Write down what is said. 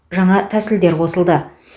жаңа тәсілдер қосылды